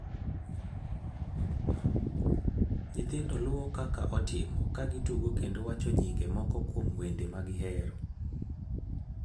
Nyithindo luwo kaka otimo, ka gitugo kendo wacho nyinge moko kuom wende ma gihero.